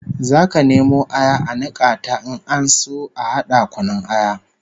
Zaka nemo aya a nika ta in ana so a hada kunun aya